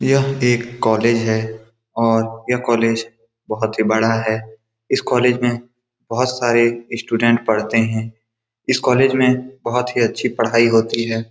यह एक कॉलेज है और यह कॉलेज बहोत ही बड़ा है इस कॉलेज में बहोत सारे स्टूडेंट पढ़ते हैं इस कॉलेज में बहोत ही अच्छी पढ़ई होती है।